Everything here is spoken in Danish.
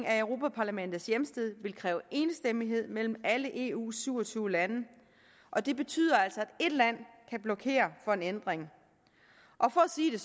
af europa parlamentets hjemsted vil kræve enstemmighed mellem alle eus syv og tyve lande og det betyder altså at et land kan blokere for en ændring og for at sige det